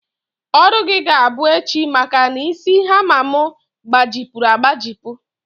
Ọrụ gị ga-abụ echi maka na isi hama m gbajipụrụ agbajipụ